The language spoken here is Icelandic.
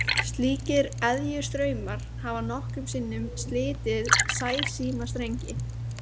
Slíkir eðjustraumar hafa nokkrum sinnum slitið sæsímastrengi.